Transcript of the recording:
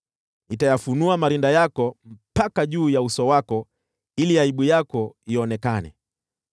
Nitayafunua marinda yako mpaka juu ya uso wako ili aibu yako ionekane: